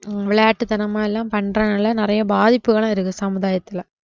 விளையாட்டுத்தனமா எல்லாம் பண்றதனால நிறைய பாதிப்புகளும் இருக்கு சமுதாயத்துல